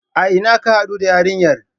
A ina ka haɗu da yarinyar?